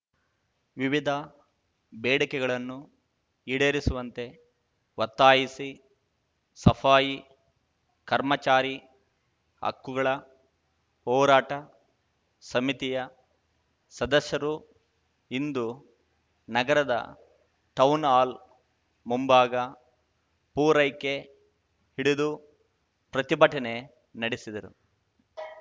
ವಿವಿಧ ಬೇಡಿಕೆಗಳನ್ನು ಈಡೇರಿಸುವಂತೆ ಒತ್ತಾಯಿಸಿ ಸಫಾಯಿ ಕರ್ಮಚಾರಿ ಹಕ್ಕುಗಳ ಹೋರಾಟ ಸಮಿತಿಯ ಸದಸ್ಯರು ಇಂದು ನಗರದ ಟೌನ್‌ಹಾಲ್ ಮುಂಭಾಗ ಪೂರೈಕೆ ಹಿಡಿದು ಪ್ರತಿಭಟನೆ ನಡೆಸಿದರು